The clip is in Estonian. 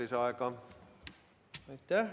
Aitäh!